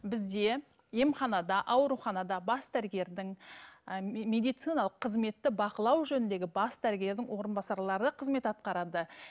бізге емханада ауруханада бас дәрігердің і медициналық қызметті бақылау жөніндегі бас дәрігердің орынбасарлары қызмет атқарады